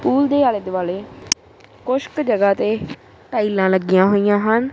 Pool ਦੇ ਆਲੇ ਦੁਆਲੇ ਕੁਛਕ ਜਗਾਹ ਤੇ ਟਾਈਲਾਂ ਲੱਗੀਆਂ ਹੋਈਆਂ ਹਨ।